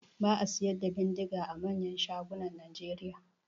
Ba a siyar da bindiga a manyan shagunan Nigeria.